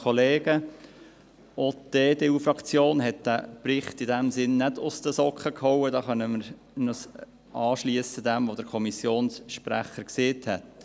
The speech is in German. Diesbezüglich können wir uns dem anschliessen, was der Kommissionssprecher gesagt hat.